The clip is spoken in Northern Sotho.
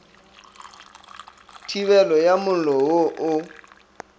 thibelo ya mollo wo o